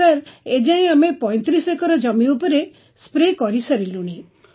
sir ଏ ଯାଏଁ ଆମେ ୩୫ ଏକର ଜମି ଉପରେ ସ୍ପ୍ରେ କରିସାରିଲୁଣି